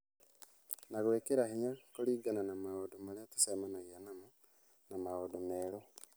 na gwĩkĩra hinya kũringana na maũndũ marĩa tũcemanagia namo na maũndũ merũ.